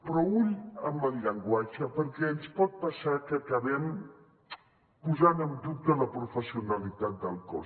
però ull amb el llenguatge perquè ens pot passar que acabem posant en dubte la professionalitat del cos